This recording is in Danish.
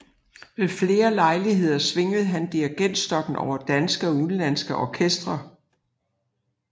Ved flere lejligheder svingede han dirigentstokken over danske og udenlandske orkestre